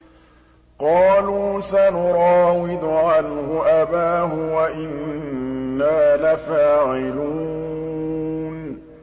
قَالُوا سَنُرَاوِدُ عَنْهُ أَبَاهُ وَإِنَّا لَفَاعِلُونَ